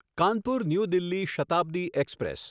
Kanpur New Delhi Shatabdi express